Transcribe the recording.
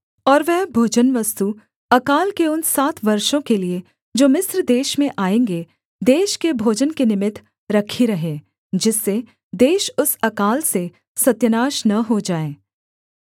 और वह भोजनवस्तु अकाल के उन सात वर्षों के लिये जो मिस्र देश में आएँगे देश के भोजन के निमित्त रखी रहे जिससे देश उस अकाल से सत्यानाश न हो जाए